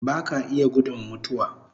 Baka iya gudun mutuwa